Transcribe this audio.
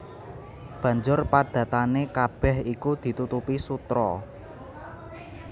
Banjur padatané kabèh iku ditutupi sutra